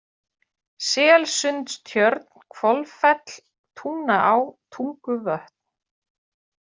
Selsundstjörn, Hvolfell, Tungnaá, Tunguvötn